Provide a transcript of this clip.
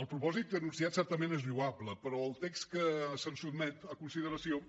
el propòsit anunciat certament és lloable però el text que se’ns sotmet a consideració